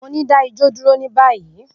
Mo ni, da ijó duro ni bayi!